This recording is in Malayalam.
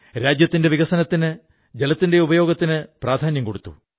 രാജ്യത്തിന്റെ വികസനത്തിന് ജലത്തിന്റെ ഉപയോഗത്തിന് പ്രാധാന്യം കൊടുത്തു